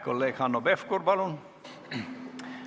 Kolleeg Hanno Pevkur, palun!